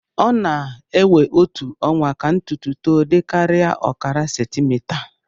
ọ na-ewe otu ọnwa ka ntutu to dịkarịa ọkara sentimita